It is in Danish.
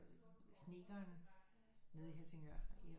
Snedkeren nede i Helsingør